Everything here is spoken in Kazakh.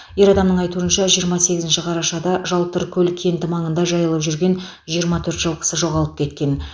ер адамның айтуынша жиырма сегізінші қарашада жалтыркөл кенті маңында жайылып жүрген жиырма төрт жылқысы жоғалып кеткен